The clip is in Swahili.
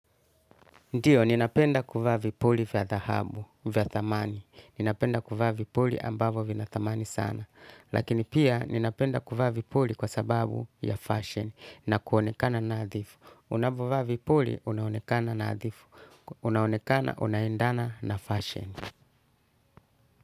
Ndio, ninapenda kuvaa vipuli vya dhahabu, vya thamani. Ninapenda kuvaa vipuli ambavyo vina thamani sana. Lakini pia, ninapenda kuvaa vipuli kwa sababu ya fashion na kuonekana nadhifu. Unapovaa vipuli, unaonekana nadhifu. Unaonekana, unaendana na fashion.